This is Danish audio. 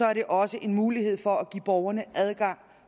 er det også en mulighed for at give borgerne adgang